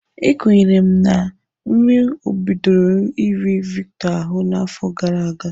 Ekwenyere m na nri bidoro iri Victor ahụ n'afọ gara aga.